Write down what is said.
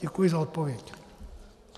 Děkuji za odpověď.